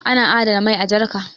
ana adana mai a jarka